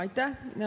Aitäh!